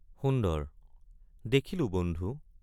সুন্দৰ—দেখিলো বন্ধু।